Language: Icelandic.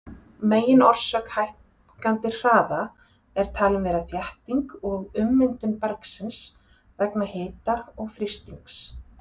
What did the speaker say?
Meginorsök hækkandi hraða er talin vera þétting og ummyndun bergsins vegna hita og þrýstings.